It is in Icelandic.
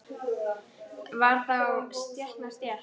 Var þá stétt með stétt?